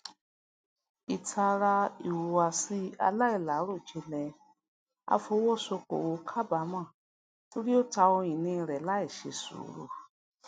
ilátara ihuwasi alailarojinlẹ afowosokowo kabaamọ tori o ta ohunini rẹ laiṣe suuru